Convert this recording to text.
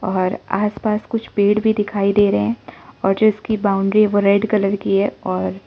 और आस पास कुछ पेड़ भी दिखाई दे रहे हैं और जिसकी बाउंड्री वो रेड कलर की है और--